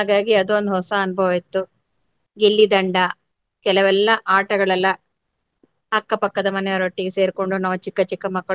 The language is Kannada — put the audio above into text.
ಹಾಗಾಗಿ ಅದು ಒಂದ್ ಹೊಸ ಅನುಭವ ಇತ್ತು. ಗಿಲ್ಲಿ ದಂಡ ಕೆಲೆವೆಲ್ಲ ಆಟಗಳೆಲ್ಲ ಅಕ್ಕ ಪಕ್ಕದ ಮನೆಯವರೊಟ್ಟಿಗೆ ಸೇರಿಕೊಂಡು ನಾವು ಚಿಕ್ಕ ಚಿಕ್ಕ.